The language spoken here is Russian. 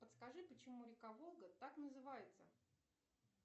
подскажи почему река волга так называется